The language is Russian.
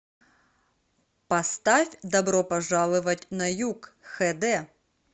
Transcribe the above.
поставь добро пожаловать на юг хд